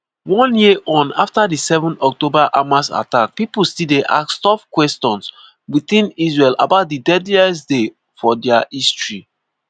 one year on afta di 7 october hamas attacks pipo still dey ask tough kwesions within israel about di deadliest day for dia history.